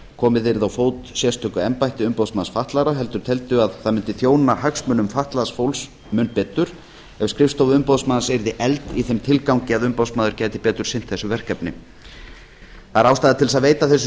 komið yrði á fót sérstöku embætti umboðsmanns fatlaðra heldur teldu að það mundi þjóna hagsmunum fatlaðs fólks mun betur ef skrifstofa umboðsmanns yrði efld í þeim tilgangi að umboðsmaður gæti betur sinnt þessu verkefni það er ástæða til að veita þessu